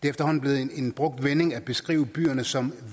efterhånden blevet en brugt vending at beskrive byerne som